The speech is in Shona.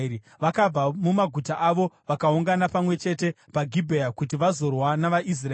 Vakabva mumaguta avo vakaungana pamwe chete paGibhea kuti vazorwa navaIsraeri.